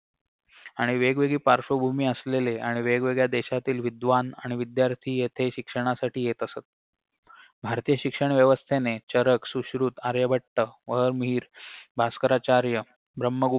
आणि वेगवेगळी पार्श्वभूमी असलेले आणि वेगवेगळ्या देशातील विद्वान आणि विद्यार्थी येथे शिक्षणासाठी येत असत भारतीय शिक्षण व्यवस्थेने चरक सुश्रुत आर्यभट्ट व मीर भास्कराचार्य ब्रम्हगुप्त